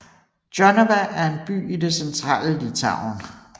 Jonava er en by i det centrale Litauen